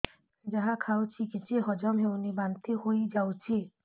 ଯାହା ଖାଉଛି କିଛି ହଜମ ହେଉନି ବାନ୍ତି ହୋଇଯାଉଛି